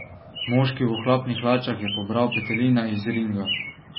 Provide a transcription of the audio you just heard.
Moški v ohlapnih hlačah je pobral petelina iz ringa.